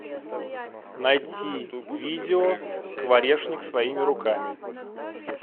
найти видео скворечник своими руками